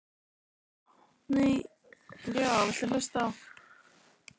Er hann hlynntur eða ekki hlynntur?